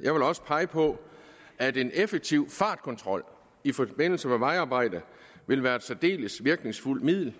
vil også pege på at en effektiv fartkontrol i forbindelse med vejarbejde vil være et særdeles virkningsfuldt middel